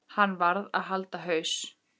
Hann varð að halda haus.